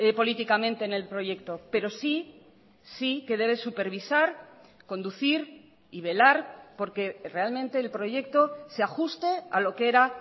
políticamente en el proyecto pero sí sí que debe supervisar conducir y velar porque realmente el proyecto se ajuste a lo que era